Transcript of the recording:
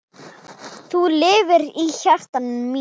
Þú lifir í hjarta mínu.